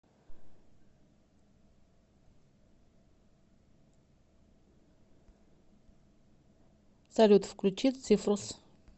салют включи цифрус